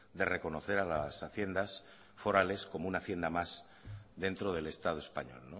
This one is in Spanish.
de reconocer a las haciendas forales como una hacienda más dentro del estado español